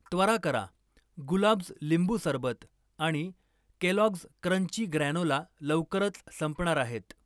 त्वरा करा, गुलाब्ज लिंबू सरबत आणि केलॉग्ज क्रंची ग्रॅनोला लवकरच संपणार आहेत.